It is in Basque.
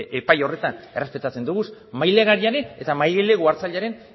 epai horretan errespetatzen dugu bai mailegulariaren eta mailegu hartzailearen